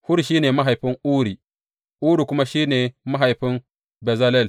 Hur shi ne mahaifin Uri, Uri kuma shi ne mahaifin Bezalel.